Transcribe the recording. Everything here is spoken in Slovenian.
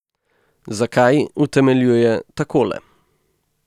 Zakaj, utemeljuje takole.